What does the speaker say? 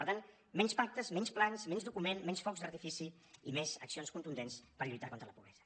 per tant menys pactes menys plans menys documents menys focs d’artifici i més accions contundents per lluitar contra la pobresa